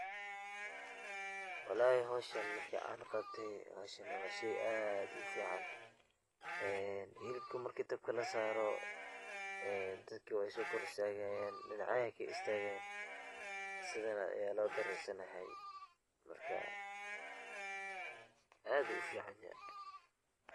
Walahi howshaan maarki aan qabtaay, howshaani waa sheey aad uu fican. een hiliibka maarki daabka laa saaro een dadkaa wey soo kor istagaayan dhinacyadaa ayeey kaa istagaayan sidaan ayaa loo dariisan lahaay. maarka aad ayuu uu ficaan yahay.